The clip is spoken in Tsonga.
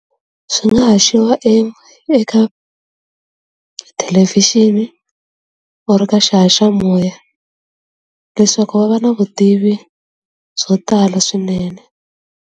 Swi nga haxiwa eka tithelevhixini u ri ka xaha xa moya leswaku va va na vutivi byo tala swinene.